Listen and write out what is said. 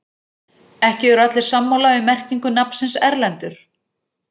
Ekki eru allir sammála um merkingu nafnsins Erlendur.